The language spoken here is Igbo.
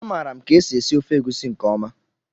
A maara m ka e si esi ofe egusi nke ọma